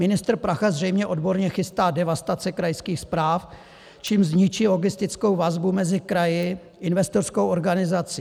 Ministr Prachař zřejmě odborně chystá devastace krajských správ, čímž zničí logistickou vazbu mezi kraji, investorskou organizací.